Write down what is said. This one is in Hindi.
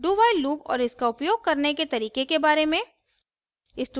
dowhile loop और इसका उपयोग करने के तरीके के बारे में